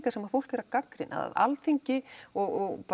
sem fólk er að gagnrýna Alþingi og